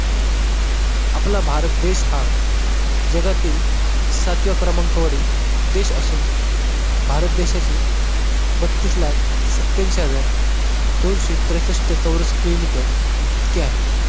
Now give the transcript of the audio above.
आपला भारत देश हा जगातील सातव्या क्रमांकावरील देश असून भारत देशाची बत्तीस लाख सत्याऐंशी हजार दोनशे त्रेसष्ठ चौरस किलोमीटर इतके आहे.